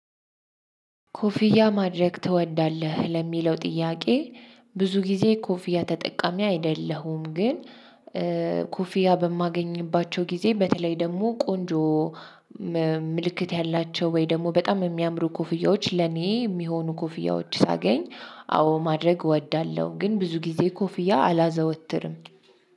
ኮፍያ ማድረግ ትወዳለህ ለሚለው ጥያቄ? ብዙ ጊዜ ኮፍያ ተጠቃሚ አይደለሁም ግን። ኮፊያ በማገኝባቸው ጊዜ በተለይ ደግሞ ቆንጆ። ምልክት ያላቸው ወይ ደግሞ በጣም የሚያምሩ ኮፍያዎች ለኔ የሚሆኑ ኮፍያዎች ሳገኝ አዎ ማድረግ እወዳለሁ። ግን ብዙ ጊዜ ኮፍያ አላዘወትርም።